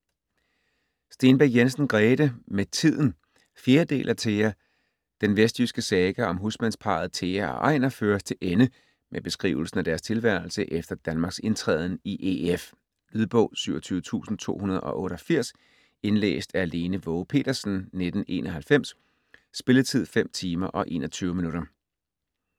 Stenbæk Jensen, Grete: Med tiden 4. del af Thea. Den vestjyske saga om husmandsparret Thea og Ejner føres til ende med beskrivelsen af deres tilværelse efter Danmarks indtræden i EF. Lydbog 27288 Indlæst af Lene Waage Petersen, 1991. Spilletid: 5 timer, 21 minutter.